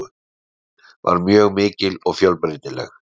Dagskráin var mikil og fjölbreytileg.